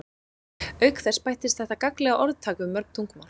auk þess bættist þetta gagnlega orðtak við mörg tungumál